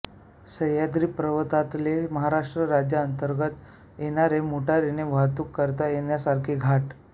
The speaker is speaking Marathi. सह्याद्री पर्वतातले महाराष्ट्र राज्याअंतर्गत येणारे मोटारीने वाहतूक करता येण्यासारखे घाट